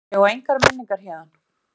Ég á engar minningar héðan.